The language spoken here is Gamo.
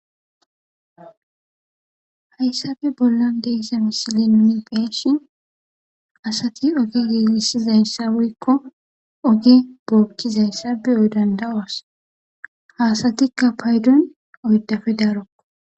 Hayisafe bollan deessa misili nuni peeshin asati oge geegisizayssa weyiko oge bookkizayssa beyoy dandawas haasatikka paydon oydafe daarokko